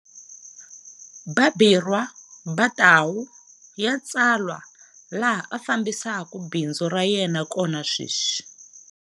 Babirwa Ba Tau Ya Tswala laha a fambisaka bindzu ra yena kona sweswi.